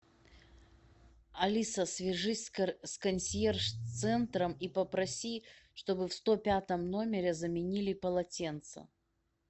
алиса свяжись с консьерж центром и попроси чтобы в сто пятом номере заменили полотенца